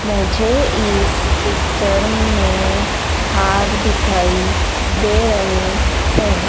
मुझे इस पिक्चर में हार दिखाई दे रहे हैं।